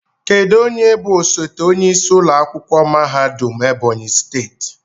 Kedu onye bụ osote onyeisi ụlọ akwụkwọ mahadum Ebonyi steeti?